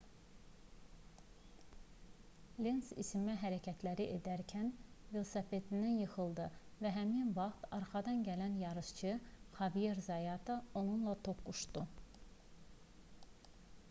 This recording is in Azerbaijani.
lenz isinmə hərəkətləri edərkən velosipedindən yıxıldı və həmin vaxt arxadan gələn yarışçı xavier zayata onunla toqquşdu